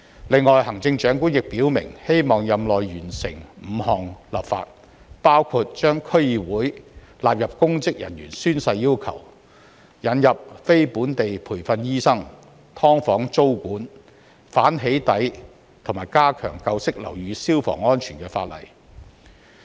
此外，行政長官亦表明希望在任內完成5項立法，包括把區議會納入公職人員宣誓要求、引入非本地培訓醫生、"劏房"租務管制、反"起底"及加強舊式樓宇消防安全的法例。